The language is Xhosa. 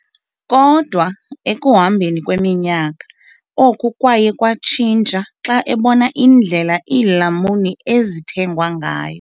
Kodwa ekuhambeni kweminyaka, oku kwaye kwatshintsha xa ebona indlela iilamuni ezithengwa ngayo.